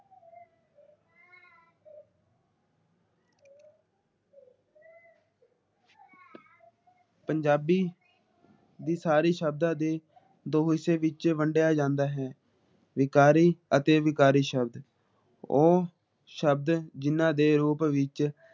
ਪੰਜਾਬੀ ਦੇ ਸਾਰੇ ਸ਼ਬਦਾਂ ਦੀ ਦੋ ਵਿਸ਼ੇ ਵਿੱਚ ਵੰਡਿਆ ਜਾਂਦਾ ਹੈ । ਵਿਕਾਰੀ ਅਤੇ ਅਵਿਕਾਰੀ ਸ਼ਬਦ ਉਹ ਸ਼ਬਦ ਜਿਨ੍ਹਾਂ ਦੇ ਰੂਪ ਵਿੱਚ